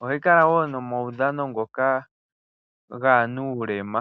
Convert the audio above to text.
.ohayi kala woo nomawudhano ngoka gaanuulema.